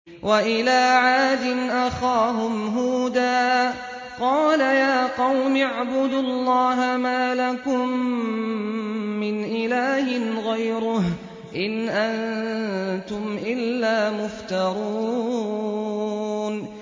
وَإِلَىٰ عَادٍ أَخَاهُمْ هُودًا ۚ قَالَ يَا قَوْمِ اعْبُدُوا اللَّهَ مَا لَكُم مِّنْ إِلَٰهٍ غَيْرُهُ ۖ إِنْ أَنتُمْ إِلَّا مُفْتَرُونَ